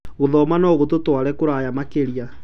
Gũthoma no gũtũtũare kũraya makĩria.